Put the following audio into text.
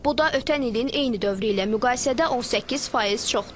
Bu da ötən ilin eyni dövrü ilə müqayisədə 18% çoxdur.